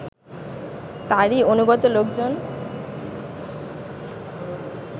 তারই অনুগত লোকজন